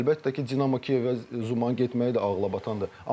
Əlbəttə ki, Dinamo Kiyevə Zumanın getməyi də ağıla batandır.